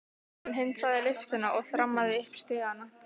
Hann hundsaði lyftuna og þrammaði upp stigana.